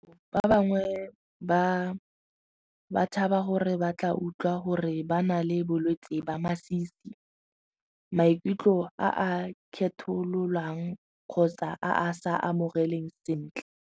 Ba bangwe ba tshaba gore ba tla utlwa gore ba na le bolwetsi ba masisi maikutlo a a kgethololang kgotsa a a sa amogeleng sentle.